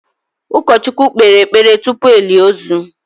ụkọchukwu kpere ekpere tupu elie ozu.